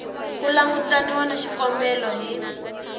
ku langutaniwa na xikombelo hi